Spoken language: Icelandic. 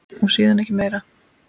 Og síðan ekki meir?